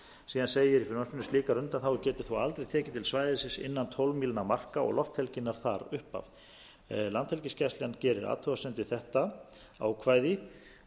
síðan segir í frumvarpinu slíkar undanþágur geta þó aldrei tekið til svæðisins innan tólf mílna marka og lofthelginnar þar upp af landhelgisgæslan gerir athugasemd við þetta ákvæði